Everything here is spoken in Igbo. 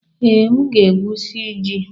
Ee, m ga-egwusi ji.